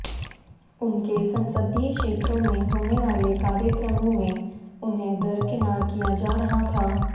उनके संसदीय क्षेत्रों में होने वाले कार्यक्रमों में उन्हें दरकिनार किया जा रहा था